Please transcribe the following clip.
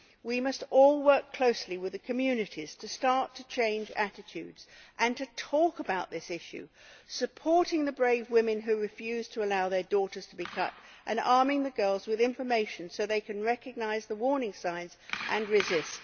We must all work closely with the communities, to start to change attitudes and to talk about this issue, supporting the brave women who refuse to allow their daughters to be cut and arming the girls with information so that they can recognise the warning signs and resist.